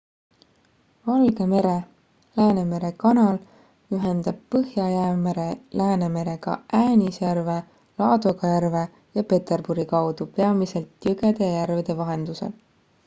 valge mere läänemere kanal ühendab põhja-jäämere läänemerega äänisjärve laadoga järve ja peterburi kaudu peamiselt jõgede ja järvede vahendusel